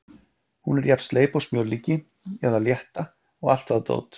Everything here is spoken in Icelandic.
Hún er jafn sleip og smjörlíki eða Létta og allt það dót.